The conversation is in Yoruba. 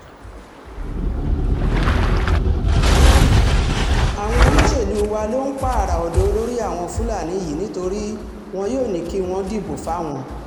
àwọn olóṣèlú wa ló ń pààrà ọ̀dọ́ olórí àwọn fúlàní yìí nítorí wọn yóò ní kí wọ́n dìbò fáwọn